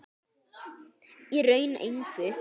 Í raun engu.